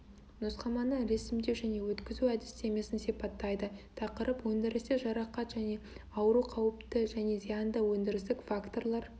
нұсқаманы ресімдеу және өткізу әдістемесін сипаттайды тақырып өндірісте жарақат және ауру қауіпті және зиянды өндірістік факторлар